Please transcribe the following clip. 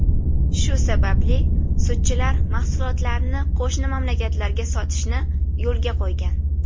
Shu sababli sutchilar mahsulotlarini qo‘shni mamlakatlarga sotishni yo‘lga qo‘ygan.